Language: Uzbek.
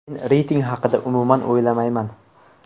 Men reyting haqida umuman o‘ylamayman.